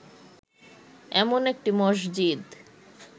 এমন একটি মসজিদ